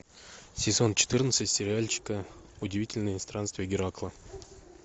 сезон четырнадцать сериальчика удивительные странствия геракла